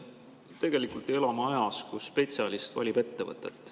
Tegelikult me elame ajas, kus spetsialist valib ettevõtet.